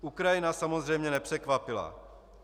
Ukrajina samozřejmě nepřekvapila.